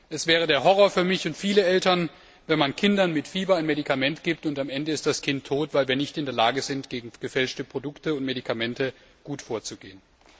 Es wäre ein Horror für mich und viele Eltern, wenn man Kindern mit Fieber ein Medikament gibt, und am Ende ist das Kind tot, weil wir nicht in der Lage sind, gegen gefälschte Produkte und Medikamente gut vorzugehen.